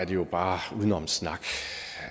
jo bare udenomssnak